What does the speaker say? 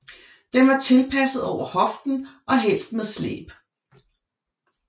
Den var tilpasset over hoften og helst med slæb